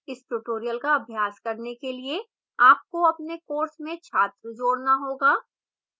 इस tutorial का अभ्यास करने के लिए आपको अपने course में छात्र जोड़ना होगा